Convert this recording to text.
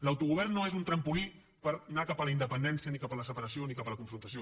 l’autogovern no és un trampolí per anar cap a la independència ni cap a la separació ni cap a la confrontació